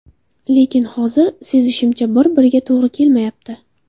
Lekin hozir sezishimcha, bir-biriga to‘g‘ri kelmayapti.